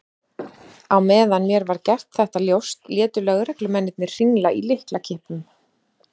Á meðan mér var gert þetta ljóst létu lögreglumennirnir hringla í lyklakippum.